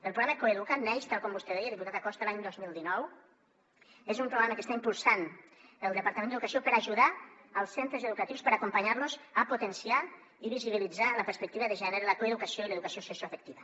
el programa coeduca’t neix tal com vostè deia diputat acosta l’any dos mil dinou és un programa que està impulsant el departament d’educació per ajudar els centres educatius per acompanyar los a potenciar i visibilitzar la perspectiva de gènere la coeducació i l’educació sexoafectiva